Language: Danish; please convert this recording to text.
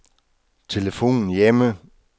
telefon hjemme